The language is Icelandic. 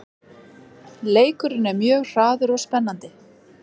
Leikurinn er mjög hraður og spennandi